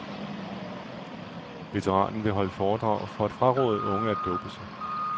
Veteranen vil holde foredrag for at fraråde unge at dope sig.